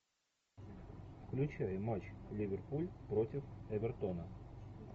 включай матч ливерпуль против эвертона